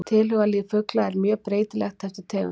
Tilhugalíf fugla er mjög breytilegt eftir tegundum.